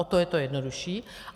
O to je to jednodušší.